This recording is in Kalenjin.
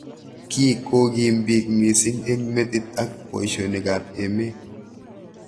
Kii kikoim bik mising eng metit ak boishonik ab emet.